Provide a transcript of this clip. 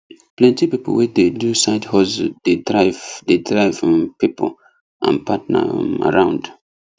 plenty people wey dey do side hustle dey drive dey drive um people and partner um around